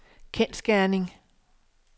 kendsgerning